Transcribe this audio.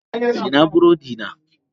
Ina burodina?